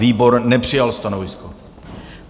Výbor nepřijal stanovisko.